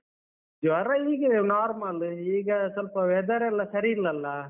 ಜ್ವರ ಹೀಗೆಯೇ normal ಈಗ ಸ್ವಲ್ಪ weather ಲ್ಲ ಸರಿ ಇಲ್ಲಲ್ಲ?